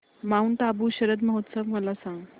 Mount Abu शरद महोत्सव मला सांग